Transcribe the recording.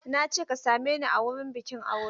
I said meet me at the wedding ceremony!